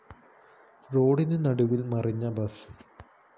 റോഡിനു നടുവില്‍ മറിഞ്ഞ ബസ്